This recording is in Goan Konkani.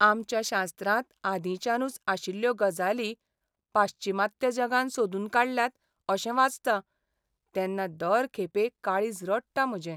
आमच्या शास्त्रांत आदिंच्यानूच आशिल्ल्यो गजाली पाश्चिमात्य जगान "सोदून काडल्यात" अशें वाचता, तेन्ना दर खेपे काळीज रडटा म्हजें.